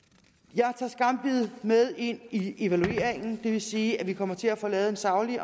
jeg tager skambid med ind i evalueringen det vi sige at vi kommer til at få lavet en saglig